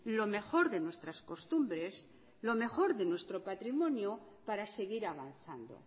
lo mejor de nuestras costumbres lo mejor de nuestro patrimonio para seguir avanzando